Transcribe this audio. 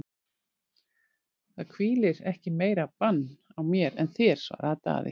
Það hvílir ekki meira bann á mér en þér, svaraði Daði.